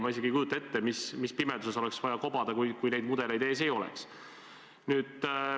Ma isegi ei kujuta ette, kui sügavas pimeduses oleks vaja kobada, kui neid mudeleid ees ei oleks.